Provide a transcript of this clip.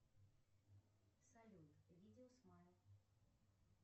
салют видео смайл